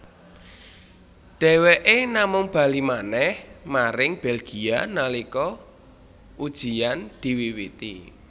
Dheweké namung bali manèh maring Belgia nalika ujiyan diwiwiti